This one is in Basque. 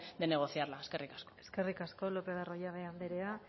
de negociarla eskerrik asko eskerrik asko lopez de arroyabe anderea